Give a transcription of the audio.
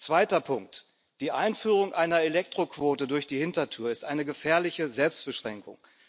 Zweiter Punkt Die Einführung einer Elektroquote durch die Hintertür ist eine gefährliche Selbstbeschränkung.